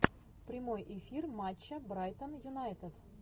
прямой эфир матча брайтон юнайтед